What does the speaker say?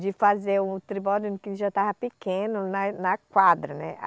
de fazer o Tribódomo, que já estava pequeno, na e, na quadra, né